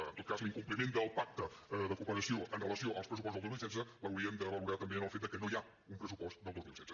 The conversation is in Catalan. en tot cas l’incompliment del pacte de cooperació amb relació al pressupost del dos mil setze l’haurien de valorar també en el fet de que no hi ha un pressupost del dos mil setze